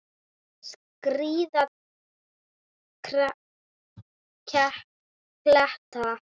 Skríða kletta.